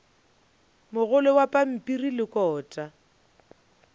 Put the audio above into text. mogolo wa pampiri le kota